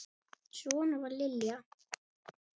Svona var Lilja.